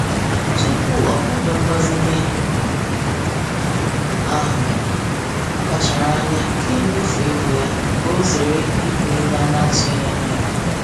Tupu o kwado mgbazinye ahụ, ọ kpachara anya kee mmefu ego ya ka o zere ibu ego a na-atụghị anya ya.